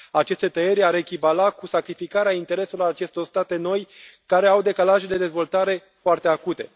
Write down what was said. Aceste tăieri ar echivala cu sacrificarea intereselor acestor state noi care au decalaje de dezvoltare foarte acute.